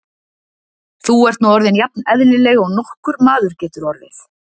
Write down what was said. Þú ert nú orðin jafn eðlileg og nokkur maður getur orðið.